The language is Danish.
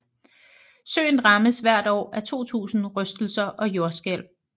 Søen rammes hvert år af 2000 rystelser og jordskælv